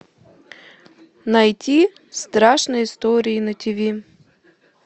найти страшные истории на тиви